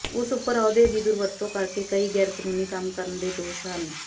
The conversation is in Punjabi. ਉਸ ਉਪਰ ਅਹੁਦੇ ਦੀ ਦੁਰਵਰਤੋਂ ਕਰਕੇ ਕਈ ਗ਼ੈਰਕਾਨੂੰਨੀ ਕੰਮ ਕਰਨ ਦੇ ਦੋਸ਼ ਹਨ